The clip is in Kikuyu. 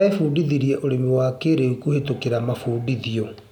Arebundithia ũrĩmi wa kĩrĩu kũhĩtũkĩra mabundithio.